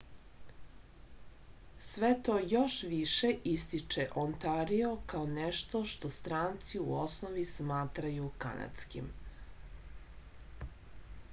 sve to još više ističe ontario kao nešto što stranci u osnovi smatraju kanadskim